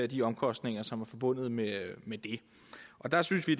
de omkostninger som er forbundet med det og der synes vi